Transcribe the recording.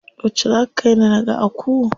Yauce za ka kaini naga Aku?